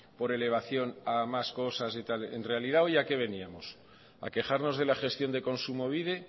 por elevación a más cosas y tal en realidad hoy a qué veníamos a quejarnos de la gestión de kontsumobide